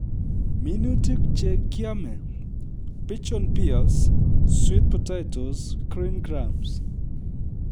Minutik che kiamei-pigeon peas, sweet potatoes, green grams